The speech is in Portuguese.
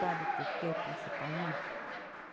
Sabe por quê, principalmente?